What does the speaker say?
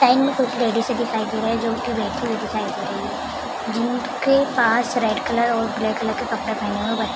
side में कुछ ladies दिखाई दे रहा है जो की बैठी हुई दिखाई दे रही है जिन के पास रेड कलर और ब्लैक कलर के कपड़े पहने हुए बच्चे--